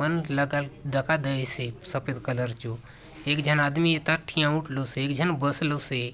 मन लगल दखा देयसे सफ़ेद कलर चो एक झन आदमी इथा ठिया उठलोसे एक झन बसलोसे।